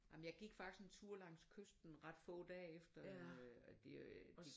Jamen jeg gik faktisk en tur langs kysten ret få dage efter øh at de øh